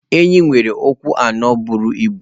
Enyí nwere ụkwụ anọ buru ibu.